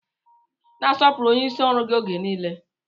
Na-asọpụrụ onyeisi ọrụ gị oge nile